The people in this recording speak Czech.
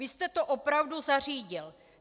Vy jste to opravdu zařídil.